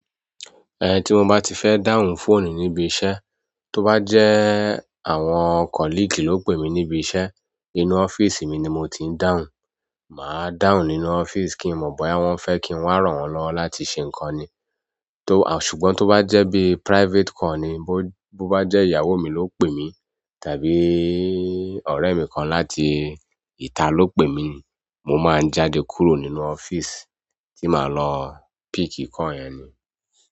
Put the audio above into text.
Tí mo bá ti fẹ́ dáhùn fóònù níbi iṣẹ́, tó bá jẹ́ àwọn "colleague" ló pè mí níbi iṣẹ́, inú ọ́fíìsì mi ni mo ti ń dáhùn. Màá dáhùn nínú ọ́fíìsì kí n mọ̀ bóyá wọ́n fẹ́ kí n wa ràn wọ́n lọwo láti ṣe ǹkan ni. Ṣùgbọ́n tó bá jẹ bí private call ni, bó bá jẹ ìyàwó mi lọ pé mi tàbí ọ̀rẹ́ mi kan láti ìta lọ pè mi, mo má ń jáde kúrò nínú office ti má lọ pick call yẹn.